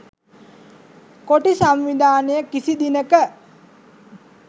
කොටි සංවිධානය කිසි දිනක